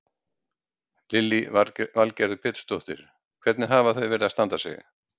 Lillý Valgerður Pétursdóttir: Hvernig hafa þau verið að standa sig?